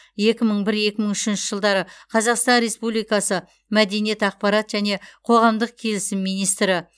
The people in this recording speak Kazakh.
екі мың бір екі мың үшінші жылдары қазақстан республикасы мәдениет ақпарат және қоғамдық келісім министрі